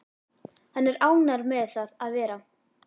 Hann er ánægður með það að vera